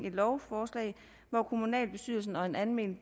et lovforslag hvor kommunalbestyrelsen og en almen